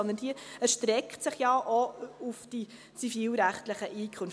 Vielmehr erstreckt sich diese ja auch auf die zivilrechtlichen Einkünfte.